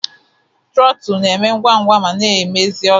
Trootul na-eme ngwa ngwa ma mezie ọsọ.